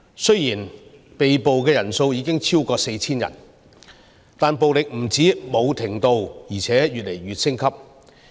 雖然被捕人數已經超過 4,000 人，但暴力不但沒有停止，而且越來越升級。